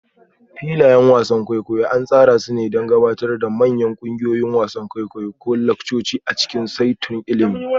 Filayen wasan kwaikwayo an tsara su don gabatar da manyan ƙungiyoyi, wasan kwaikwayo ko laccoci a cikin saitunan ilimi.